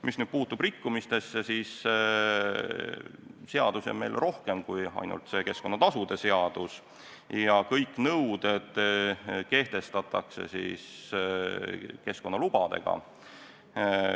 Mis puutub rikkumistesse, siis seadusi on meil rohkem kui ainult keskkonnatasude seadus ja kõik nõuded kehtestatakse keskkonnalubadega.